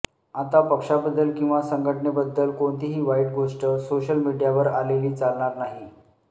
आता पक्षाबद्दल किंवा संघटनेबद्दल कोणतीही वाईट गोष्ट सोशल मीडियावर आलेली चालणार नाही